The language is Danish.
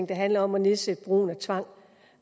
det handler om at nedsætte brugen af tvang